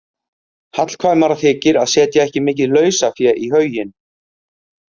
Hallkvæmara þykir að setja ekki mikið lausafé í hauginn.